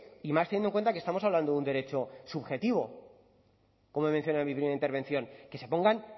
y más teniendo en cuenta que estamos hablando de un derecho subjetivo como he mencionado en mi primera intervención que se pongan